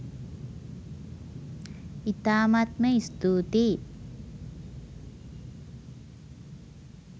ඉතාමත්ම ස්තුතියි